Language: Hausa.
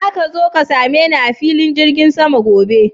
Zaka zo ka same ni a filin jirgin sama gobe?